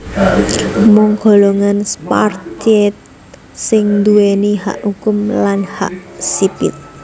Mung golongan Spartiate sing nduwèni hak hukum lan hak sipil